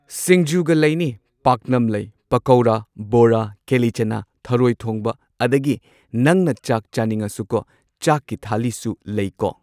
ꯁꯤꯡꯖꯨꯒ ꯂꯩꯅꯤ ꯄꯥꯛꯅꯝ ꯂꯩ ꯄꯀꯧꯔꯥ ꯕꯣꯔꯥ ꯀꯦꯂꯤꯆꯅꯥ ꯊꯔꯣꯏ ꯊꯣꯡꯕ ꯑꯗꯒꯤ ꯅꯪꯅ ꯆꯥꯛ ꯆꯥꯅꯤꯡꯉꯁꯨꯀꯣ ꯆꯥꯛꯀꯤ ꯊꯥꯂꯤꯁꯨ ꯂꯩꯀꯣ